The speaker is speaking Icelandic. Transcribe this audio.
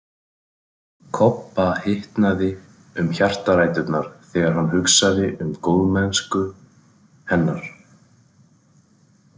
Kobba hitnaði um hjartaræturnar þegar hann hugsaði um góðmennsku hennar.